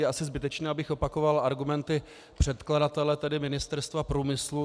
Je asi zbytečné, abych opakoval argumenty předkladatele, tedy Ministerstva průmyslu.